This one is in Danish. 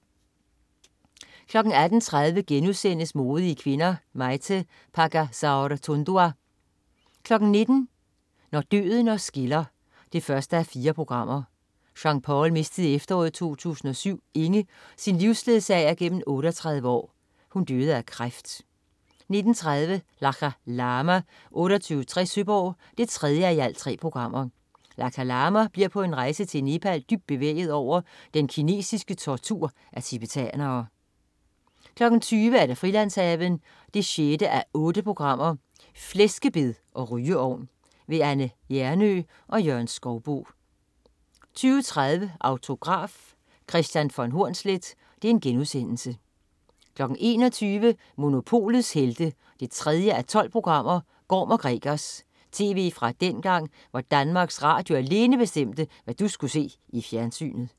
18.30 Modige kvinder: Maite Pagazaurtundua* 19.00 Når døden os skiller 1:4. Jean-Paul mistede i efteråret 2007 Inge, sin livsledsager gennem 38 år. Hun døde af kræft 19.30 Lakha Lama 2860 Søborg 3:3. Lakha Lama bliver på en rejse til Nepal dybt bevæget over den kinesiske tortur af tibetanere 20.00 Frilandshaven 6:8. Flæskebed og rygeovn. Anne Hjernøe og Jørgen Skouboe 20.30 Autograf: Kristian von Hornsleth* 21.00 Monopolets Helte 3:12. Gorm & Gregers. Tv fra dengang, hvor Danmarks Radio alene bestemte, hvad du skulle se i fjernsynet